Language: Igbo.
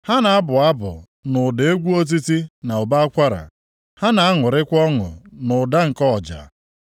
Ha na-abụ abụ nʼụda egwu otiti na ụbọ akwara; ha na-aṅụrịkwa ọṅụ nʼụda nke ọja.